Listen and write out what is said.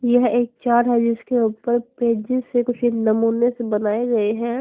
यह एक चार है जिसके ऊपर पेजी से कुछ नमूने से बनाए गए हैं।